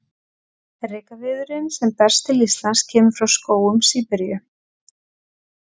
Rekaviðurinn sem berst til Íslands kemur frá skógum Síberíu.